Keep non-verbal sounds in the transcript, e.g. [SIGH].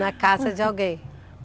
[LAUGHS] Na casa de alguém?